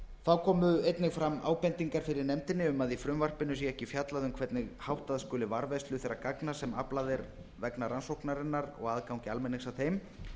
þá komu einnig fram ábendingar fyrir nefndinni um að í frumvarpinu sé ekki fjallað um hvernig háttað skuli varðveislu þeirra gagna sem aflað er vegna rannsóknarinnar og aðgangi almennings að þeim